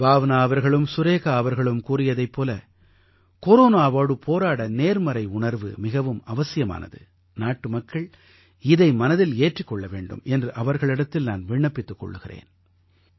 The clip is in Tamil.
பாவ்னா அவர்களும் சுரேகா அவர்களும் கூறியதைப் போல கொரோனாவோடு போராட நேர்மறை உணர்வு மிகவும் அவசியமானது நாட்டுமக்கள் இதை மனதில் ஏற்றிக் கொள்ள வேண்டும் என்று அவர்களிடத்தில் நான் விண்ணப்பித்துக் கொள்கிறேன்